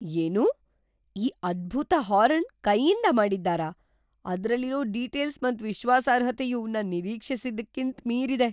ಏನು... ಈ ಅದ್ಬುತ ಹಾರನ್ ಕೈಯಿಂದ ಮಾಡಿದ್ದಾರಾ? ಅದ್ರಲ್ಲಿರೋ ಡೀಟೇಲ್ಸ್ ಮತ್ ವಿಶ್ವಾಸಾರ್ಹತೆಯು ನನ್ ನಿರೀಕ್ಷಿಸಿದ್ದಕ್ಕಿಂತ್ ಮೀರಿದೆ!